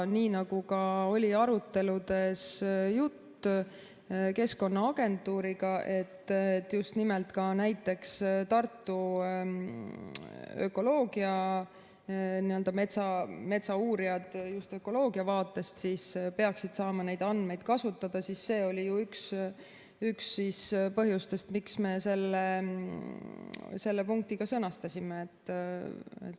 Nii nagu oli juttu ka aruteludes Keskkonnaagentuuriga, et ka näiteks Tartu metsauurijad, metsaökoloogid peaksid saama neid andmeid kasutada, siis see oli ju üks põhjus, miks me selle punkti sõnastasime.